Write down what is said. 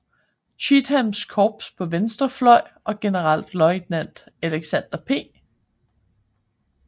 Cheathams korps på venstre fløj og generalløjtnant Alexander P